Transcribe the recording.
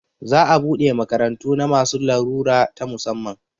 Za a buɗe makarantu na masu larura ta musamman